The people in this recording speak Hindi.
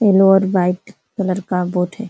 येलो और व्हाइट कलर का बोट हैं।